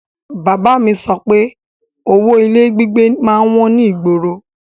Bàbá a mi sọ pé owó ilé gbígbé má ń wọ́n ní ìgboro